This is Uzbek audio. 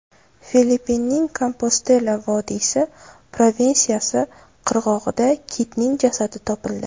Filippinning Kompostela vodiysi provinsiyasi qirg‘og‘ida kitning jasadi topildi.